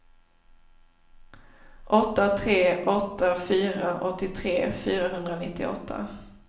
åtta tre åtta fyra åttiotre fyrahundranittioåtta